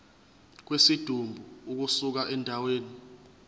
kwesidumbu ukusuka endaweni